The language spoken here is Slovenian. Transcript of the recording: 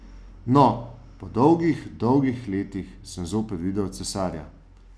No, po dolgih, dolgih letih sem zopet videl cesarja.